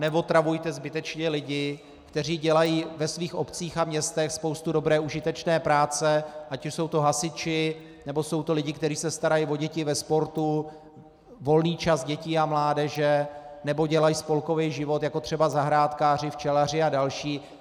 Neotravujte zbytečně lidi, kteří dělají ve svých obcích a městech spoustu dobré užitečné práce, ať už jsou to hasiči, nebo jsou to lidé, kteří se starají o děti ve sportu, volný čas dětí a mládeže, nebo dělají spolkový život, jako třeba zahrádkáři, včelaři a další.